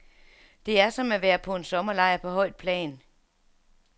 Det er som at være på en sommerlejr på højt plan.